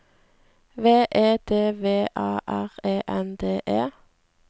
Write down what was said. V E D V A R E N D E